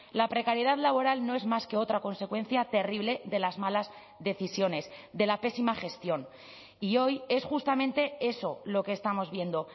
la precariedad laboral no es más que otra consecuencia terrible de las malas decisiones de la pésima gestión y hoy es justamente eso lo que estamos viendo